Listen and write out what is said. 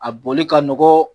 A bɔnli ka nɔgɔ